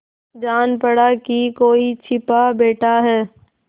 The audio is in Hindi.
जान पड़ा कि कोई छिपा बैठा है